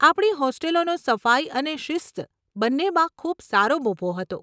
આપણી હોસ્ટેલોનો સફાઈ અને શિસ્ત બંનેમાં ખૂબ સારો મોભો હતો.